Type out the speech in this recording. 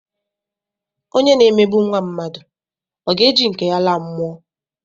Onye na-emegbu nwa mmadụ, ọ ga-eji nke ya laa mụọ?